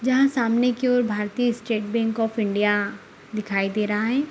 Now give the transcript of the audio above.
यहां सामने की ओर भारतीय स्टेट बैंक ऑफ़ इंडिया दिखाई दे रहा है।